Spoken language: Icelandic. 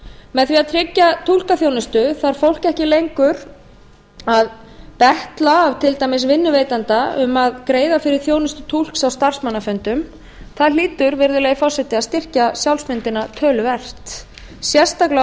með því að tryggja túlkaþjónustu þarf fólk ekki lengur að til dæmis vinnuveitanda um að greiða fyrir þjónustu túlks á starfsmannafundum það hlýtur virðulegi forseti að styrkja sjálfsmyndina töluvert sérstaklega á